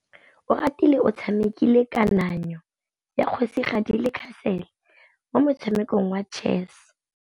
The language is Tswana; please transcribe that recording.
Oratile o tshamekile kananyô ya kgosigadi le khasêlê mo motshamekong wa chess.